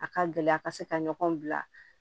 A ka gɛlɛya ka se ka ɲɔgɔn bila